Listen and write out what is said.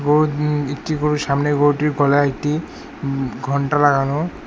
গরু উম একটি করে সামনে গরুটির গলায় একটি উম ঘন্টা লাগানো।